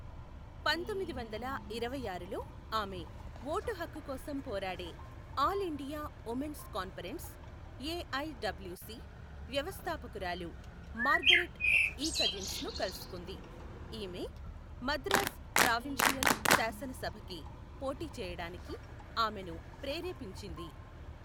పంతొమ్మిది వందల ఇరవై ఆరులోఆమె, ఓటు హక్కు కోసం పోరాడే, all India women's conference, A I W C, వ్యవస్థాపకురాలు మార్గరెట్ ఈ కజిన్స్ను కలుసుకుంది, ఈమె, మద్రాస్ ప్రావిన్షియల్ శాసన సభకి పోటీ చేయడానికి ఆమెను ప్రేరేపించింది.